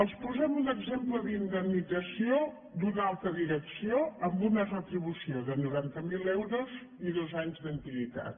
els posem un exemple d’indemnització d’una alta di·recció amb una retribució de noranta mil euros i dos anys d’antiguitat